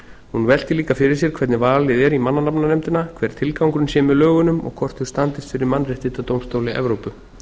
hún veltir líka fyrir sér hvernig valið er í mannanafnanefndina hver tilgangurinn sé með lögunum og hvort þau standist fyrir mannréttindadómstóli evrópu